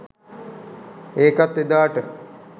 ඒකත් එදාට